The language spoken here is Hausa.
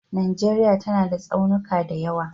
Najeriya tana da tsaunuka da yawa